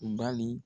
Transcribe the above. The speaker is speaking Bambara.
Bali